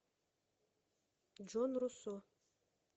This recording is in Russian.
джон руссо